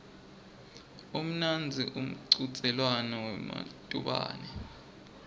umnandzi umchudzelwano wematubane